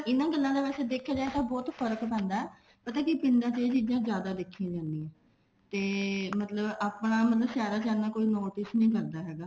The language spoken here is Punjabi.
ਇਹਨਾ ਗੱਲਾਂ ਦਾ ਜੇ ਦੇਖਿਆ ਜਾਵੇਂ ਤਾਂ ਬਹੁਤ ਫਰਕ ਪੈਂਦਾ ਪਤਾ ਕੀ ਪਿੰਡਾਂ ਚ ਇਹ ਚੀਜ਼ਾਂ ਜਿਆਦਾ ਦੇਖੀਆਂ ਜਾਂਦੀਆਂ ਤੇ ਆਪਣਾ ਮਤਲਬ ਸਹਿਰਾਂ ਚ ਇੰਨਾ ਕੋਈ notice ਨੀ ਕਰਦਾ ਹੈਗਾ